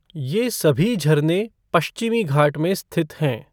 ये सभी झरने पश्चिमी घाट में स्थित हैं।